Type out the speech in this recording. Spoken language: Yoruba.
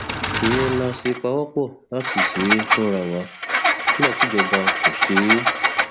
ìyẹn la ṣe pawọpọ láti ṣe é fúnra wa nígbà tí ìjọba kò ṣe é